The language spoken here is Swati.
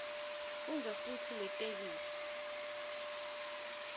fundza futsi letheksthi